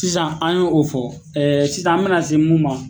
Sisan an y' o fɔ sisan an bɛna se mun ma.